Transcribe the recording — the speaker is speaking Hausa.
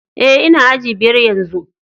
Eh, n'na aji biyar yanzu.